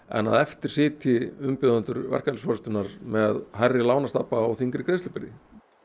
en að eftir sitji umbjóðendur verkalýðsforystunnar með hærri lánastabba og þyngri greiðslubyrði